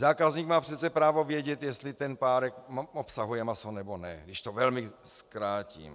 Zákazník má přece právo vědět, jestli ten párek obsahuje maso, nebo ne, když to velmi zkrátím.